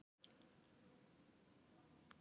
Þú stendur þig vel, Kjallakur!